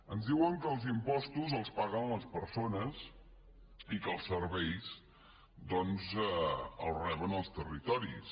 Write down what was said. ens diuen que els impostos els paguen les persones i que els serveis doncs els reben els territoris